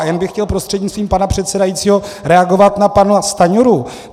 A jen bych chtěl prostřednictvím pana předsedajícího reagovat na pana Stanjuru.